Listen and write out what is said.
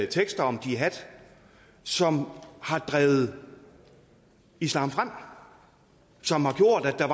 tekster om jihad som har drevet islam frem som har gjort at der